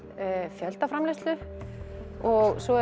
fjöldaframleiðslu og svo